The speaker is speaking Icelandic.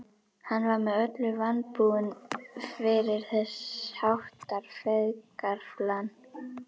Hann var með öllu vanbúinn fyrir þess háttar feigðarflan.